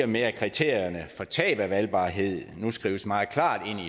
med at kriterierne for tab af valgbarhed nu skrives meget klart ind